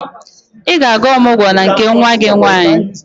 Ị ga-aga ọmụgwọ na nke nwa gị nwaanyị?